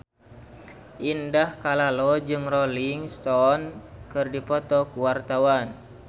Indah Kalalo jeung Rolling Stone keur dipoto ku wartawan